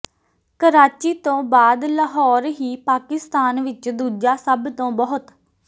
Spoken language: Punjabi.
ਕਰਾਚੀ ਤੋਂ ਬਾਅਦ ਲਾਹੌਰ ਹੀ ਪਾਕਿਸਤਾਨ ਵਿੱਚ ਦੂਜਾ ਸਭ ਤੋਂ ਬਹੁਤ